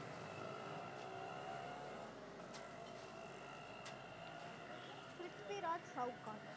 Prithviraj Chauhan